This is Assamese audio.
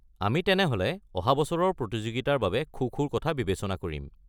আমি তেনেহ'লে অহা বছৰৰ প্ৰতিযোগিতাৰ বাবে খো-খোৰ কথা বিবেচনা কৰিম।